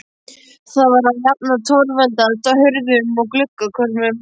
Var það að jafnaði torveldast á hurðum og gluggakörmum.